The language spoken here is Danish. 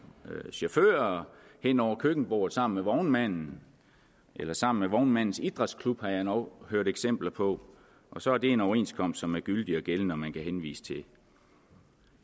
chauffører hen over køkkenbordet sammen med vognmanden eller sammen med vognmandens idrætsklub har jeg endog hørt eksempler på og så er det en overenskomst som er gyldig og gældende og som man kan henvise til